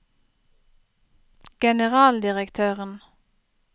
generaldirektøren